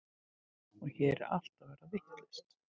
Og hér er allt að verða vitlaust.